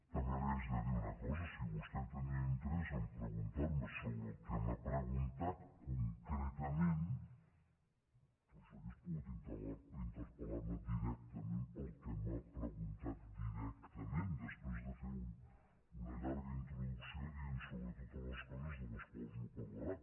també li haig de dir una cosa si vostè tenia interès a preguntar me sobre el que m’ha preguntat concretament doncs hauria pogut interpel·lar me directament pel que m’ha preguntat directament després de fer una llarga introducció dient totes les coses de les quals no parlarà